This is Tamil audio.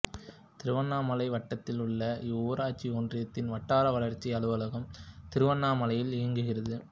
திருவண்ணாமலை வட்டத்தில் உள்ள இவ்வூராட்சி ஒன்றியத்தின் வட்டார வளர்ச்சி அலுவலகம் திருவண்ணாமலையில் இயங்குகிறது